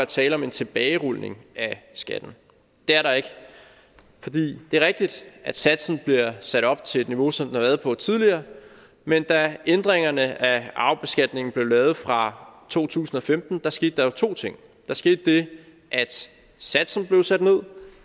tale om en tilbagerulning af skatten det er der ikke det er rigtigt at satsen bliver sat op til et niveau som den har været på tidligere men da ændringerne af arvebeskatningen blev lavet fra to tusind og femten skete der jo to ting der skete det at satsen blev sat ned